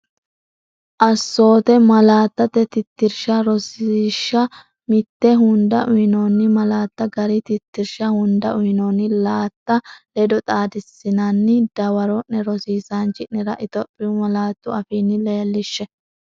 Assoote Malaattate Tittirsha Rosiishsha Mite Hunda uyinoonni malaatta gari tittirsha hunda uyinoonni laatta ledo xaadissinanni dawaro’ne rosiisaanchi’nera Itophiyu malaatu afiinni leellishshe.